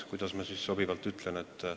Kuidas ma sobivalt ütlen ...?